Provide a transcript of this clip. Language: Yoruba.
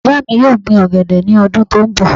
Bàbá mi yóò gbin ọ̀gẹ̀dẹ̀ ní ọdún tó ń bọ̀